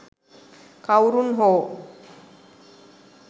කවුරුන් හෝ